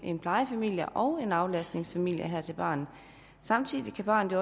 en plejefamilie og en aflastningsfamilie til barnet samtidig vil barnet